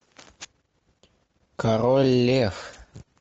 король лев